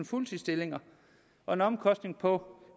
fuldtidsstillinger og en omkostning på